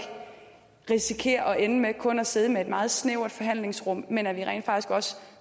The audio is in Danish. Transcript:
risikerer at ende med kun at sidde med et meget snævert forhandlingsrum men at vi rent faktisk også